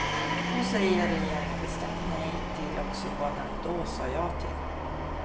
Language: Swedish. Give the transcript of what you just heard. Nu säger regeringen bestämt nej till också vad den då sade ja till.